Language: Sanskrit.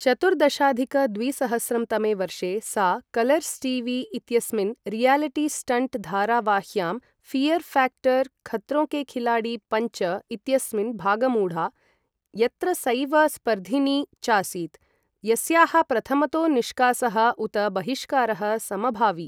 चतुर्दशाधिक द्विसहस्रं तमे वर्षे सा कलर्स् टी.वी.इत्यस्मिन् रियालिटी स्टन्ट् धारावाह्यां ऴियर् ऴ्याक्टर् खत्रों के खिलाडी पञ्च इत्यस्मिन् भागमूढा, यत्र सैव स्पर्धिनी चासीत् यस्याः प्रथमतो निष्कासः उत बहिष्कारः समभावि।